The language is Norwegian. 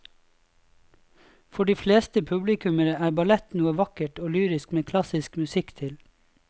For de fleste publikummere er ballett noe vakkert og lyrisk med klassisk musikk til.